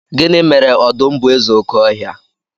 gini mere odum bu eze oke ohia?